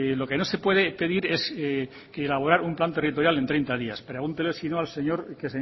lo que no se puede pedir es elaborar un plan territorial en treinta días pregúntele si no al señor que